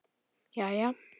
Jæja?